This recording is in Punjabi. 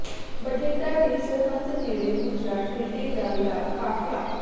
ਬਠਿੰਡਾ ਦੀ ਸਰਹੱਦ ਨੇੜੇ ਪੁੱਜਾ ਟਿੱਡੀ ਦਲ ਦਾ ਕਾਫਲਾ